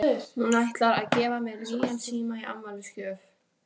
Hún ætlar að gefa mér nýjan síma í afmælisgjöf.